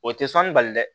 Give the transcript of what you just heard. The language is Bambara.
O tɛ sɔnni bali dɛ